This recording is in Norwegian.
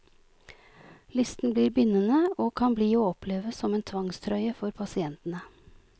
Listen blir bindende og kan bli å oppleve som en tvangstrøye for pasientene.